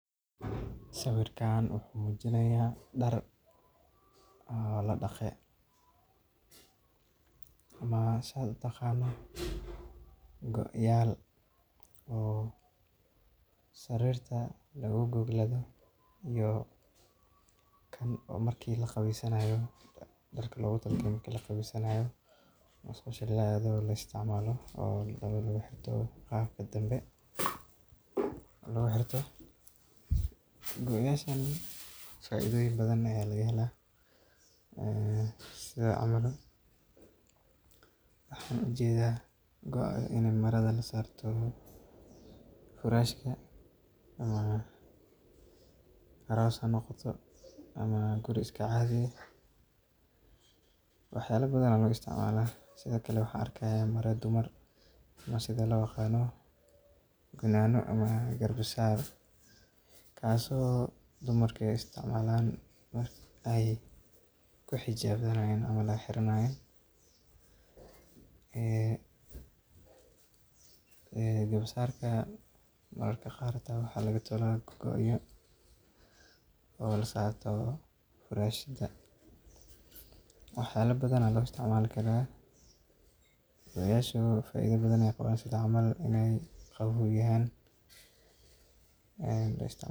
Sawirkan wuxuu muujinayaa dhar la dhaqay oo la suray, kuwaas oo ay ku jiraan go’ayaal sarir lagu goglo iyo kuwo loo isticmaalo marka la qubaysanayo ama musqusha la aado. Qaar ka mid ah dharkan waxaa lagu isticmaalaa xilliga la xiirto ama nadiifinta jirka. Go’ayaashani waxay leeyihiin faa’iidooyin badan sida in lagu goglo sariirta, xafladaha aroosyada, ama xitaa guriga caadiga ah ee la deggan yahay. Sidoo kale, sawirka waxaa ka muuqda maro dumar oo loo yaqaan garbasaar ama gunaaniyo, taasoo dumarku u adeegsadaan in ay ku xijaabtaan. Mararka qaar garbasaaradan waxaa laga tolaa go’ayaal la saaro sariiraha, taasoo muujinaysa kala duwanaanta adeegsiga dharkan. Go’ayaashan iyo dharkan kale waxaa loo isticmaalaa arrimo kala duwan oo nolol maalmeedka la xiriira. Qaar ka mid ah dharkan waxay ka samaysan yihiin maro diirran oo waxtar leh marka qaboowgu bato, taasoo ka dhigaysa kuwo muhiim ah xilliyada jiilaalka ama roobka.